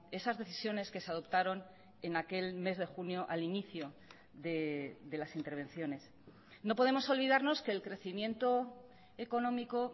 esas decisiones que se adoptaron en aquel mes de junio al inicio de las intervenciones no podemos olvidarnos que el crecimiento económico